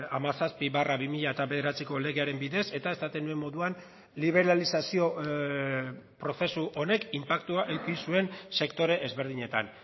hamazazpi barra bi mila bederatziko legearen bidez eta esaten nuen moduan liberalizazio prozesu honek inpaktua eduki zuen sektore ezberdinetan